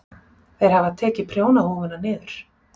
Þeir hafa tekið prjónahúfuna niður.